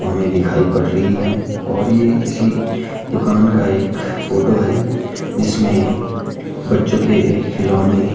हमें दिखाई पड़ रही है और ये किसी दुकान का एक फोटो है जिसमें बच्चों के खिलौने--